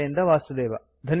ಬಾಂಬೆಯಿಂದ ವಾಸುದೇವ